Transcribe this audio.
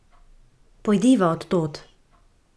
Pojdiva od tod.